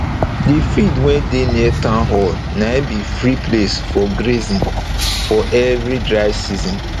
d field wey dey near town hall na be free place for grazing for every dry season